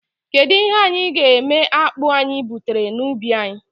Kedụ ihe anyị ga-eme akpụ anyị butara na ubi anyị?